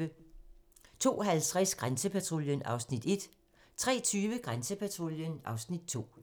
02:50: Grænsepatruljen (Afs. 1) 03:20: Grænsepatruljen (Afs. 2)